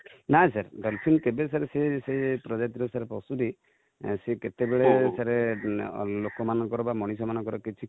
ନା sir ,dolphin କେବେ ବି sir ,ସେ ସେ ପ୍ରଜାତି ର ପଶୁ ଟି, ସେ କେତେ ବେଳେ sir ଲୋକ ମାନଙ୍କର ବା ମଣିଷ ମାନଙ୍କର କିଛି କ୍ଷତି